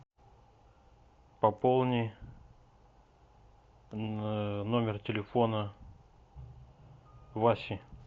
пополни номер телефона васи